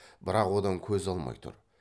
бірақ одан көз алмай тұр